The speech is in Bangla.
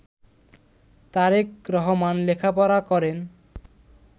তারেক রহমান লেখাপড়া করেন